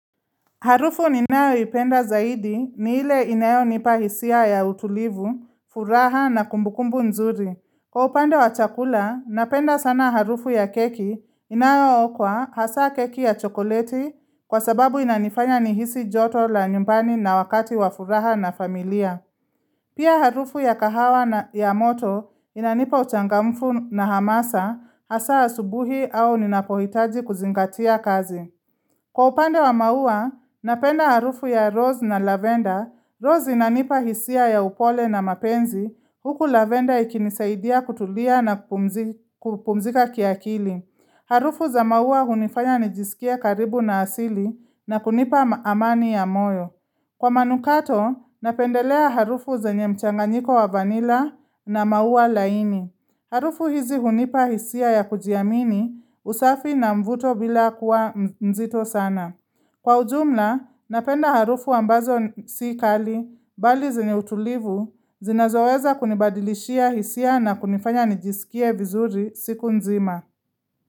Harufu ninayoipenda zaidi ni ile inayonipa hisia ya utulivu, furaha na kumbukumbu nzuri. Kwa upande wa chakula, napenda sana harufu ya keki inayookwa hasa keki ya chokoleti kwa sababu inanifanya nihisi joto la nyumbani na wakati wa furaha na familia. Pia harufu ya kahawa na ya moto inanipa uchangamfu na hamasa hasa asubuhi au ninapohitaji kuzingatia kazi. Kwa upande wa maua, napenda harufu ya rose na lavender. Rose inanipa hisia ya upole na mapenzi. Huku lavender ikinisaidia kutulia na kupumzika kiakili. Harufu za maua hunifanya nijisikie karibu na asili na kunipa amani ya moyo. Kwa manukato, napendelea harufu zenye mchanganyiko wa vanilla na maua laini. Harufu hizi hunipa hisia ya kujiamini usafi na mvuto bila kuwa mzito sana. Kwa ujumla, napenda harufu ambazo si kali, bali zenye utulivu, zinazoweza kunibadilishia hisia na kunifanya nijisikie vizuri siku nzima.